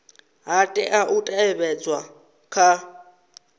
ha tea u teavhedzwa kha